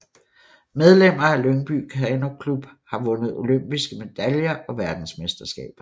Medlemmer af Lyngby Kanoklub har vundet olympiske medaljer og verdensmesterskaber